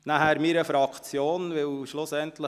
Weiter danke ich meiner Fraktion.